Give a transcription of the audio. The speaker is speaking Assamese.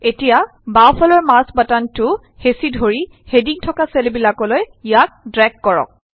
এতিয়া বাওঁফালৰ মাউছ বাটনটো হেঁচি ধৰি হেডিং থকা চেলবিলাকলৈ ইয়াক ড্ৰেগ কৰক